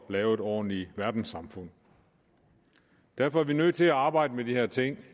lave et ordentligt verdenssamfund derfor er vi nødt til at arbejde med de her ting